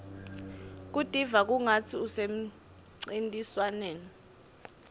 kutiva kungatsi usemcintiswaneni